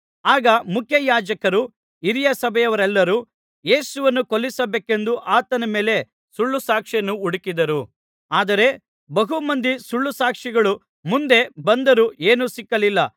ಆಗ ಮುಖ್ಯಯಾಜಕರೂ ಹಿರೀಸಭೆಯವರೆಲ್ಲರೂ ಯೇಸುವನ್ನು ಕೊಲ್ಲಿಸಬೇಕೆಂದು ಆತನ ಮೇಲೆ ಸುಳ್ಳುಸಾಕ್ಷಿಯನ್ನು ಹುಡುಕಿದರು ಆದರೆ ಬಹು ಮಂದಿ ಸುಳ್ಳುಸಾಕ್ಷಿಗಳು ಮುಂದೆ ಬಂದರೂ ಏನೂ ಸಿಕ್ಕಲಿಲ್ಲ